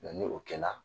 ni o kɛla